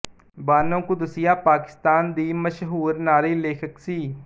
ਬਾਨੋ ਕੁਦਸੀਆ ਪਾਕਿਸਤਾਨ ਦੀ ਮਸ਼ਹੂਰ ਨਾਰੀ ਲੇਖਕ ਸੀ